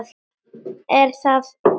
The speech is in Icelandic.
Er þá allt glatað?